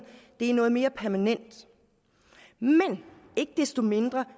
det er noget mere permanent men ikke desto mindre